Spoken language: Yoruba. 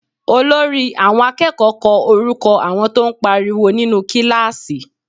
Olórí àwọn akẹ́kọ̀ọ́ kọ orúkọ àwọn tó ń pariwo nínú kíláàsì